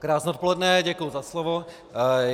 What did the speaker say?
Krásné odpoledne, děkuji za slovo.